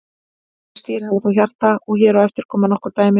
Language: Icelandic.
Langflest dýr hafa þó hjarta og hér á eftir koma nokkur dæmi.